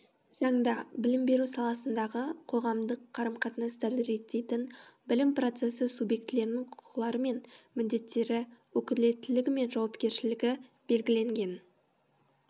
заңда білім беру саласындағы қоғамдық қарым қатынастарды реттейтін білім процесі субъектілерінің құқылары мен міндеттері өкілеттілігі мен жауапкершілігі белгіленген